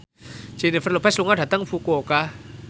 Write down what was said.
Jennifer Lopez lunga dhateng Fukuoka